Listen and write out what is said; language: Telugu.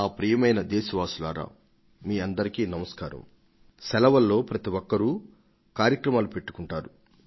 ప్రతి ఒక్కరు ఎండాకాలం సెలవుల కోసం ప్రణాళికలు సిద్ధం చేసుకొంటారు